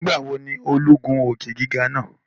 Nigbawo ni Olu gun òkè-giga naa?